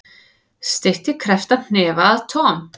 Steytti krepptan hnefa að Tom.